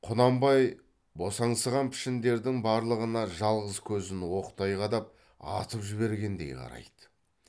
құнанбай босаңсыған пішіндердің барлығына жалғыз көзін оқтай қадап атып жібергендей қарайды